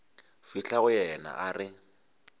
fihla go yena a re